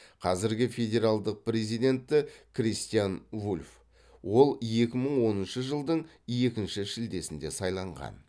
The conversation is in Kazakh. қазіргі федералдық президенті кристиан вульф ол екі мың оныншы жылдың екінші шілдесінде сайланған